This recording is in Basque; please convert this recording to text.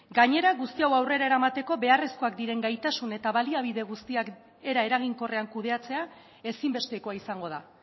gainera guzti hau aurrera eramateko beharrezkoak diren gaitasun eta baliabide guztiak era eraginkorrean kudeatzea ezinbestekoa izango da